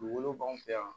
Dugukolo b'anw fɛ yan